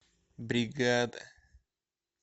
бригада